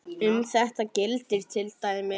Um þetta gildir til dæmis